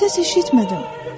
Səs eşitmədim.